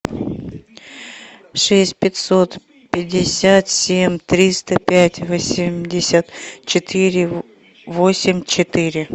шесть пятьсот пятьдесят семь триста пять восемьдесят четыре восемь четыре